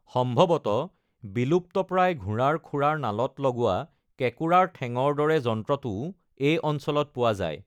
সম্ভৱতঃ বিলুপ্তপ্ৰায় ঘোঁৰাৰ খুৰাৰ নালত লগোৱা কেঁকোৰাৰ ঠেঙৰ দৰে যন্ত্ৰটোও এই অঞ্চলত পোৱা যায়।